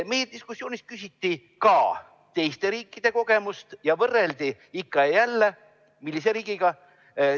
Meie diskussioonis küsiti ka teiste riikide kogemuse kohta ja meid võrreldi ikka ja jälle – millise riigiga?